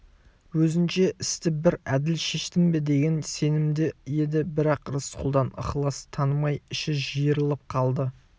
өзінше істі бір әділ шештім бе деген сенімде еді бірақ рысқұлдан ықылас танымай іші жиырылып қалды